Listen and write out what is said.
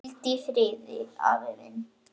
Hvíldu í friði, afi minn.